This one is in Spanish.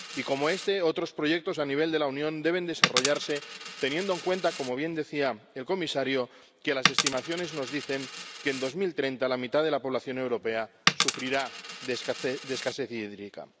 Y como este, otros proyectos a nivel de la Unión deben desarrollarse teniendo en cuenta, como bien decía el comisario, que las estimaciones nos dicen que en 2030 la mitad de la población europea sufrirá de escasez hídrica.